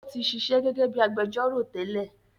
Ó tí sisẹ́ gẹ́gẹ́ bíi agbẹjọ́rọ̀ tẹ́lẹ̀